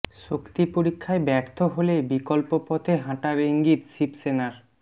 শক্তি পরীক্ষায় ব্যর্থ হলে বিকল্প পথে হাঁটার ইঙ্গিত শিবসেনার